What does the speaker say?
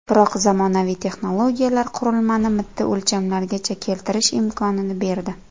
Biroq zamonaviy texnologiyalar qurilmani mitti o‘lchamlargacha keltirish imkonini berdi.